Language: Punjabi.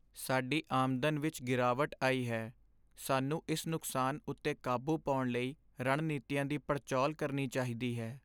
ਸਾਡੀ ਆਮਦਨ ਵਿੱਚ ਗਿਰਾਵਟ ਆਈ ਹੈ। ਸਾਨੂੰ ਇਸ ਨੁਕਸਾਨ ਉੱਤੇ ਕਾਬੂ ਪਾਉਣ ਲਈ ਰਣਨੀਤੀਆਂ ਦੀ ਪੜਝੋਲ ਕਰਨੀ ਚਾਹੀਦੀ ਹੈ।